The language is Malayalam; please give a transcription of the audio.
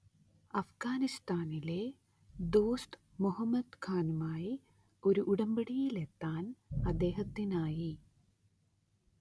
അഫ്ഗാനിസ്താനിലെ ദോസ്ത് മുഹമ്മദ് ഖാനുമായി ഒരു ഉടമ്പടിയിലെത്താൻ അദ്ദേഹത്തിനായി.